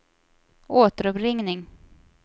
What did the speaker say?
återuppringning